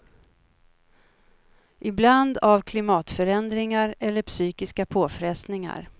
Ibland av klimatförändringar eller psykiska påfrestningar.